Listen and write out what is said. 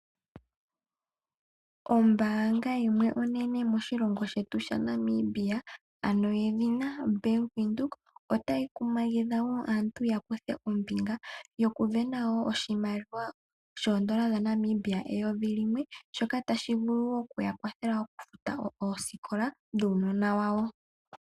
Ombaanga yimwe onene moshilongo shetu shaNamibia, ano yedhina Bank Windhoek, otayi kumagidha opo aantu yakuthe ombinga yokusindana oshimaliwa oondola dhaNamibia eyovi limwe , shoka tashi vulu okuyakwathela okufuta oosikola dhuunona wawo.